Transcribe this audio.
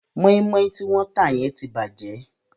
Mọ́ímọ́í tí wọ́n tà yẹn ti bàjẹ́.